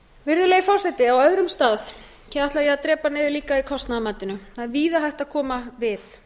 virðulegi forseti á öðrum stað ætla ég líka að drepa niður í kostnaðarmatinu það er víða hægt að koma við